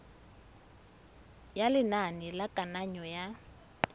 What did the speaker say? ya lenane la kananyo ya